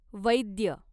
वैद्य